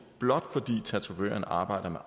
blot fordi tatovøren arbejder med